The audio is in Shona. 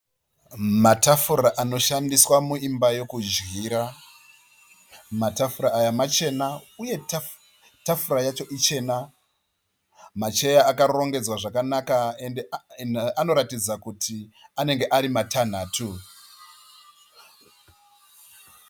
Matafura anoshandiswa muimba yekudyira. Matafura aya machena uye tafura yacho ichena. Macheya akarongedzwa zvakanaka ende anoratidza kuti anenge ari matanhatu.